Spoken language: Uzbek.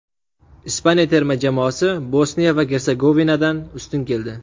Ispaniya terma jamoasi Bosniya va Gersegovinadan ustun keldi.